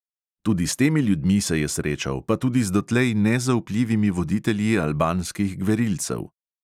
Tudi s temi ljudmi se je srečal, pa tudi z dotlej nezaupljivimi voditelji albanskih gverilcev.